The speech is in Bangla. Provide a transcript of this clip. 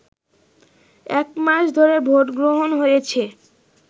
একমাস ধরে ভোটগ্রহণ হয়েছে